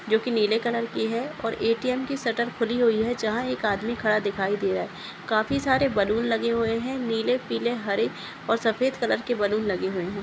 जो की नीले कलर की है ए.टी.एम की सेटेल खुली हुए है जहा एक आदमी खड़ा दिखये दे रहा है काफी सारे बलून लगे हुए है नीले पीले हरे और सफ़ेद कलर के बलुन लगे हुए है।